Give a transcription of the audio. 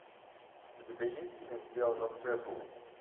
у тебя есть фильм сделано в джерси